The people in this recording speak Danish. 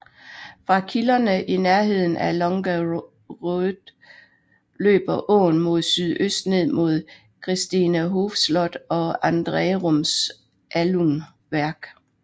Fra kilderne i nærheden af Långaröd løber åen mod sydøst ned mod Christinehofs slot og Andrerums alunværk